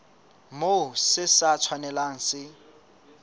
moo se sa tshwanelang se